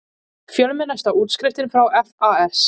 Fjölmennasta útskriftin frá FAS